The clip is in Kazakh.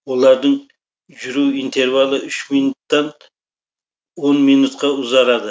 олардың жүру интервалы үш минуттан он минутқа ұзарады